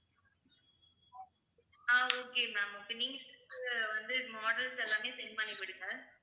ஆஹ் okay ma'am அப்ப நீங்க வந்து models எல்லாமே send பண்ணி விடுங்க